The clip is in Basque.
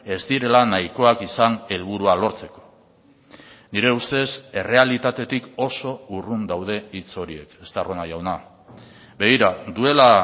ez direla nahikoak izan helburua lortzeko nire ustez errealitatetik oso urrun daude hitz horiek estarrona jauna begira duela